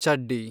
ಚಡ್ಡಿ